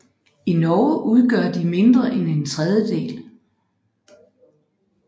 I Norge udgør de mindre end en tredjedel